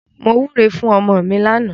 Mo wúre fún ọmọ mi lánàá.